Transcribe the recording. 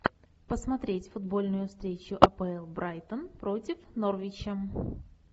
посмотреть футбольную встречу апл брайтон против норвича